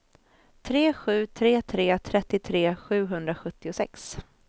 tre sju tre tre trettiotre sjuhundrasjuttiosex